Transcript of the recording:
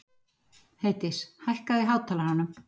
Heiðdís, hækkaðu í hátalaranum.